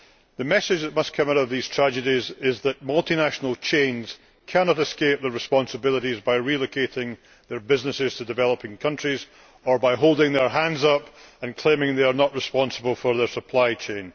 The message that must come out of these tragedies is that multinational chains cannot escape their responsibilities by relocating their businesses to developing countries or by holding their hands up and claiming they are not responsible for their supply chain.